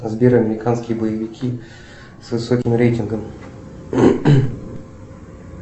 сбер американские боевики с высоким рейтингом